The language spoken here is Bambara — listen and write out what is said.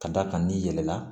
Ka d'a kan n'i yɛlɛla